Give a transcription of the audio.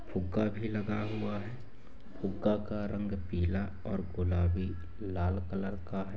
फुग्गा भी लगा हुआ हुआ है फुग्गा का रंग पीला गुलाबी लाल कलर का हैं।